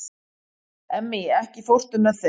Emmý, ekki fórstu með þeim?